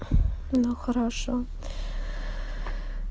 ну хорошо